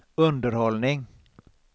underhållning